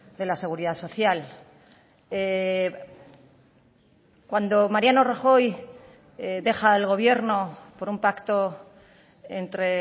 de la seguridad social cuando mariano rajoy deja el gobierno por un pacto entre